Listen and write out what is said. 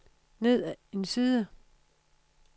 ned en side